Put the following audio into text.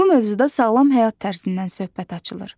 Bu mövzuda sağlam həyat tərzindən söhbət açılır.